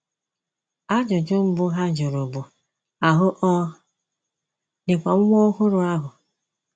Ajụjụ mbụ ha jụrụ bụ, “ Ahụ́ ọ̀ dịkwa nwa ọhụrụ ahụ? ”